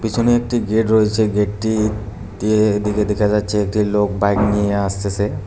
এখানে একটি গেট রয়েছে গেটটি দিয়ে এদিকে দেখা যাচ্ছে একটি লোক বাইক নিয়ে আসতেসে।